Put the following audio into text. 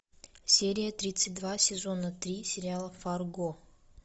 серия тридцать два сезона три сериала фарго